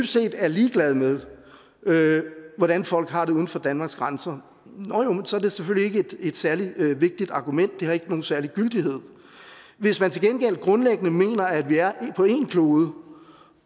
set er ligeglad med med hvordan folk har det uden for danmarks grænser så er det selvfølgelig ikke et særlig vigtigt argument det har ikke nogen særlig gyldighed hvis man til gengæld grundlæggende mener at vi er på én klode